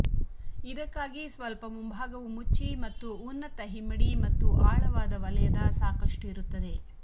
ಇದಕ್ಕಾಗಿ ಸ್ವಲ್ಪ ಮುಂಬಾಗವು ಮುಚ್ಚಿ ಮತ್ತು ಉನ್ನತ ಹಿಮ್ಮಡಿ ಮತ್ತು ಆಳವಾದ ವಲಯದ ಸಾಕಷ್ಟು ಇರುತ್ತದೆ